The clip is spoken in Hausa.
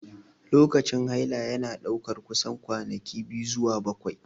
Lokacin haila yana ɗaukar kusan kwanaki 2 zuwa 7.